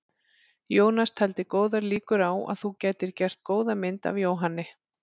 Jónas taldi góðar líkur á að þú gætir gert góða mynd af Jóhanni.